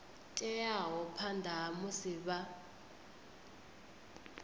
teaho phanḓa ha musi vha